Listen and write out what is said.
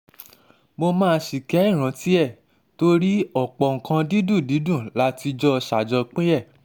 mo máa ṣìkẹ́ ìrántí ẹ torí ọ̀pọ̀ nǹkan dídùn dídùn la ti jọ ti jọ ṣàjọpín ẹ̀